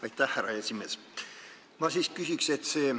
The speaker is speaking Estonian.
Aitäh, härra esimees!